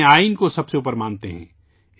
اپنے آئین کو سب سے اوپر مانتے ہیں